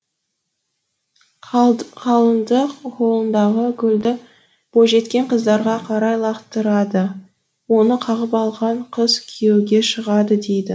қалыңдық қолындағы гүлді бойжеткен қыздарға қарай лақтырды оны қағып алған қыз күйеуге шығады дейді